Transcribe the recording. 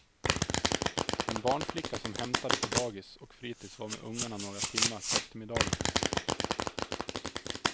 En barnflicka som hämtade på dagis och fritis och var med ungarna några timmar på eftermiddagen.